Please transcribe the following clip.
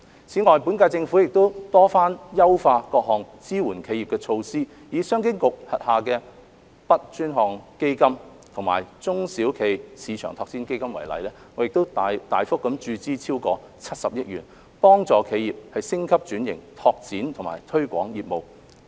此外，本屆政府亦多番優化各項支援企業的措施，以商務及經濟發展局轄下的 BUD 專項基金及中小企業市場推廣基金為例，我們大幅注資超過70億元，幫助企業升級轉型、拓展和推廣業務。